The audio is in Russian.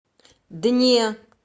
дне